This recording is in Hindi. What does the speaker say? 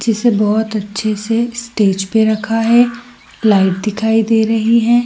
जिसे बहुत अच्छे से स्टेज पर रखा है लाइट दिखाई दे रही है ।